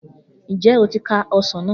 Njẹ o ti ka ọsàn na?